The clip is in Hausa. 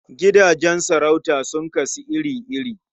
Gidajen sarauta sun kasu iri-iri.